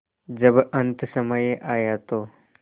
जब अन्तसमय आया तो